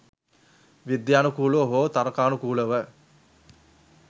විද්‍යානුකූලව හෝ තර්කානුකූලව